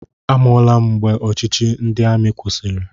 Amụọla m mgbe ọchịchị ndị amị kwụsịrị.